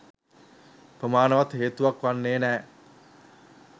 ප්‍රමාණවත් හේතුවක් වන්නේ නැහැ